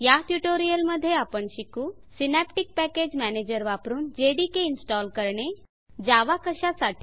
या ट्यूटोरियल मध्ये आपण शिकू सिनॅप्टिक पॅकेज मॅनेजर वापरुन जेडीके इनस्टॉल करणे जावा कशासाठी